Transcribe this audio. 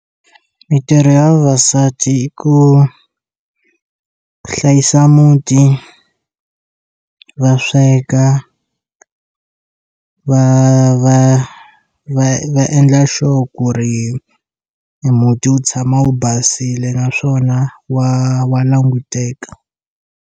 Mintirho ya vavasati hi ku hlayisa muti va sweka va va va va endla sure ku ri e muti wu tshama wu basile naswona wa wa languteka.